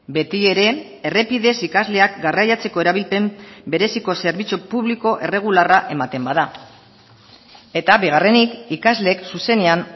betiere errepidez ikasleak garraiatzeko erabilpen bereziko zerbitzu publiko erregularra ematen bada eta bigarrenik ikasleek zuzenean